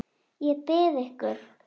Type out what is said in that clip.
Ég bið ykkur!